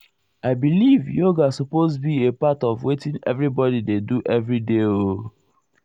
i velieve yoga supose be a part of wetin everybodi dey do everyday oooooo.